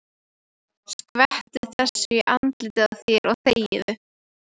Skvettu þessu í andlitið á þér og þegiðu.